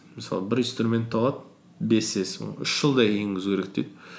мысалы бір инструментті алады бес с оны үш жылдай енгізу керек дейді